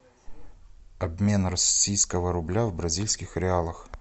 обмен российского рубля в бразильских реалах